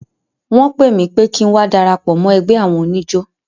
Wọ́n pè mí pé kí ń wá darapọ̀ mọ́ ẹgbẹ́ àwọn oníjó.